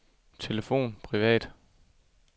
telefon privat